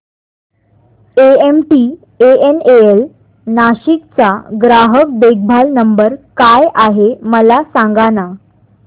MTNL Nashik चा ग्राहक देखभाल नंबर काय आहे मला सांगाना